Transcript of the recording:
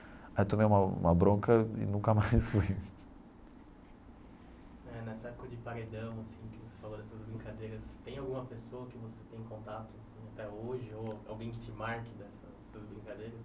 Aí tomei uma uma bronca e nunca mais fui. É nessa coisa de paredão assim que você falou dessas brincadeiras, tem alguma pessoa que você tem contato assim até hoje, ou alguém que te marque nessa nessas brincadeiras?